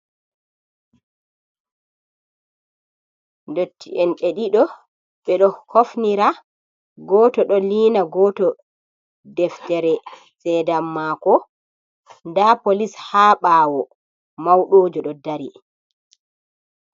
Ndotti'en ɓe ɗiɗo ɓe ɗo hofnira, goto ɗo liina goto deftere sedam mako nda polis ha ɓawo mawɗoojo ɗo dari.